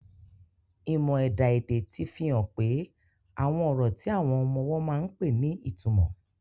Ìmọ̀ ẹ̀dá-èdè ti fi hàn pé àwọn ọ̀rọ̀ tí àwọn ọmọ ọwọ́ máa ń pè ní ìtumọ̀.